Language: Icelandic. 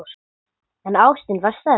En ástin var sterk.